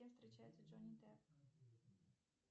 с кем встречается джонни депп